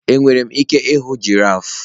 Enwere m ike ịhụ giraf?